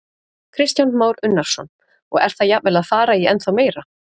Kristján Már Unnarsson: Og er það jafnvel að fara í ennþá meira?